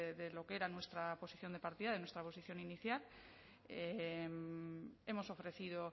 de lo que era nuestra posición de partida de nuestra posición inicial hemos ofrecido